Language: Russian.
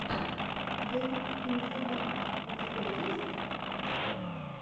дэнс ин зе дарк у тебя есть